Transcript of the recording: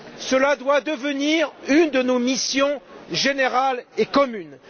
Cela doit devenir une de nos missions générales et communes.